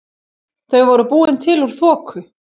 Þau voru búin til úr þoku.